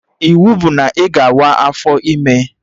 Iwu bụ na ị ga awa afọ ime!